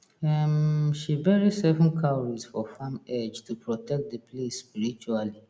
um she bury seven cowries for farm edge to protect the place spiritually